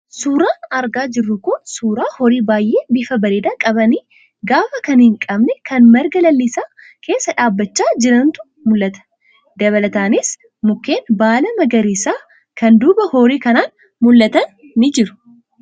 Suuraan argaa jirru kun suuraa horii baay'ee bifa bareedaa qabanii, gaafa kan hin qabne kan marga lalisaa keessa dhaabachaa jirantu mul'ata. Dabalataanis mukeen baala magariisaa kan duuba horii kanaan mul'atan ni jiru.